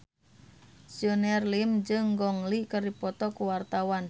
Junior Liem jeung Gong Li keur dipoto ku wartawan